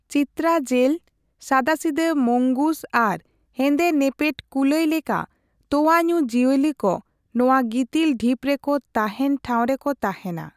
ᱪᱤᱛᱨᱟ ᱡᱮᱞ, ᱥᱟᱫᱟᱥᱤᱫᱟᱹ ᱢᱚᱝᱜᱩᱥ ᱟᱨ ᱦᱮᱸᱫᱮ ᱱᱮᱯᱮᱰ ᱠᱩᱞᱟᱹᱭ ᱞᱮᱠᱟ ᱛᱳᱣᱟ ᱧᱩ ᱡᱤᱭᱟᱹᱞᱤ ᱠᱚ ᱱᱚᱣᱟ ᱜᱤᱛᱤᱞ ᱰᱷᱤᱯ ᱨᱮᱠᱚ ᱛᱟᱦᱮᱸᱱ ᱴᱷᱟᱸᱣᱨᱮ ᱠᱚ ᱛᱟᱦᱮᱸᱱᱟ ᱾